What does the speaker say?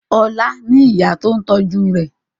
Ọlá ní ìyá tó ń tọ́jú rẹ̀.